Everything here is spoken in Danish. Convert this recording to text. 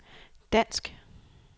dansk